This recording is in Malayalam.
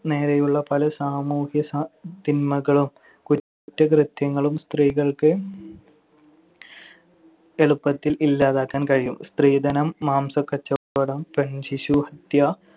നേരെയുള്ള പല സാമൂഹ്യ തിന്മകളും കുറ്റകൃത്യങ്ങളും സ്ത്രീകൾക്ക് എളുപ്പത്തിൽ ഇല്ലാതാക്കാൻ കഴിയും. സ്ത്രീധനം, മാംസക്കച്ചവടം, പെൺ ശിശുഹത്യ